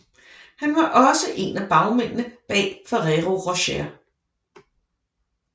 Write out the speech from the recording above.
Han var også en af bagmændene bag Ferrero Rocher